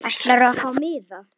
Ætlarðu að fá miða?